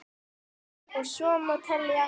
Og svo má telja.